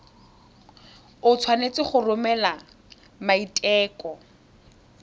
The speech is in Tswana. o tshwanetse go romela maiteko